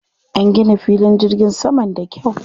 An gina filin jirgin saman da kyau.